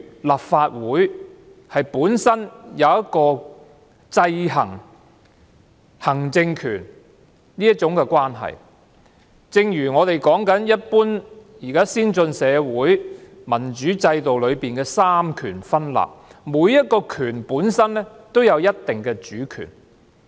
立法會有制衡行政機關權力的職能，在一般先進社會的民主制度下實行三權分立，每一個權力本身都有一定的主權。